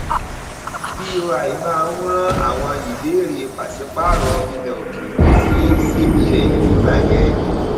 boi máa ń rán àwọn ìbéèrè pàṣípààrọ ilẹ òkèèrè sí cbn nígbà yẹn